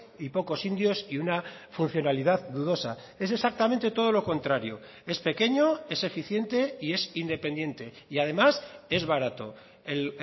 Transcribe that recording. y pocos indios y una funcionalidad dudosa es exactamente todo lo contrario es pequeño es eficiente y es independiente y además es barato el